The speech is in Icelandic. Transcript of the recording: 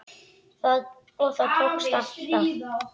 Og það tókst alltaf.